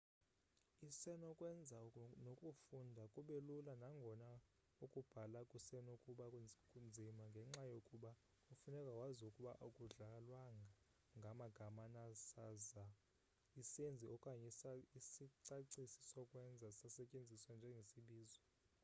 isenokwenza nokufunda kube lula nangona ukubhala kusenokuba nzima ngenxa yokuba kufuneka wazi ukuba akudlalwanga ngamagama na saza isenzi okanye isicacisi-sokwenza sasetyenziswa njengesibizo